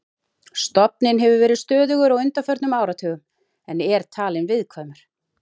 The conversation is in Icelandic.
Stofninn hefur verið stöðugur á undanförnum áratugum en er talinn viðkvæmur.